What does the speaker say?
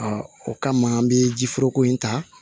o kama an bɛ ji foroko in ta